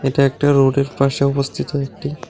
এটা একটা রোডের পাশে অবস্থিত একটি--